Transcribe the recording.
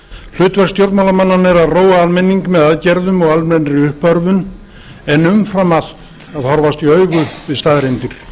stjórnmálamannanna er að róa almenning með aðgerðum og almennri uppörvun en umfram allt að horfast í augu við staðreyndir